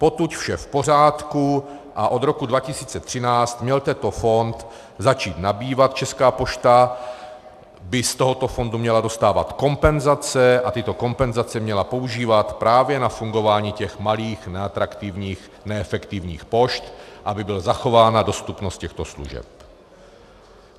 Potud vše v pořádku, a od roku 2013 měl tento fond začít nabývat, Česká pošta by z tohoto fondu měla dostávat kompenzace a tyto kompenzace měla používat právě na fungování těch malých, neatraktivních, neefektivních pošt, aby byla zachována dostupnost těchto služeb.